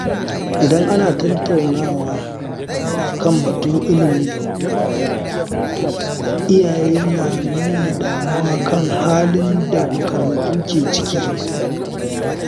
Idan ana tattaunawa kan batun ilimi, iyaye na nuna damuwa kan halin da makarantu ke ciki.